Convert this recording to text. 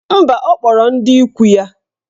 Mba, ọ kpọrọ ndị ikwu ya.